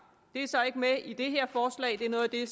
det er så ikke med i det her forslag det er noget af det